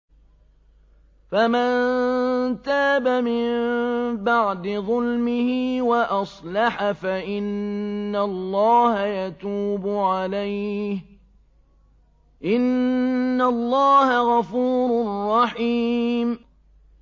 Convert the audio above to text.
فَمَن تَابَ مِن بَعْدِ ظُلْمِهِ وَأَصْلَحَ فَإِنَّ اللَّهَ يَتُوبُ عَلَيْهِ ۗ إِنَّ اللَّهَ غَفُورٌ رَّحِيمٌ